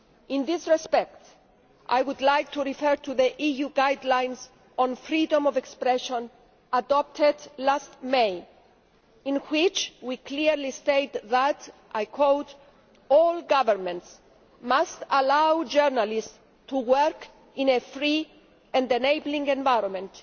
In this respect, I would like to refer to the EU guidelines on freedom of expression adopted last May in which we clearly state that all governments must allow journalists to work in a free and enabling environment